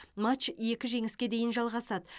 матч екі жеңіске дейін жалғасады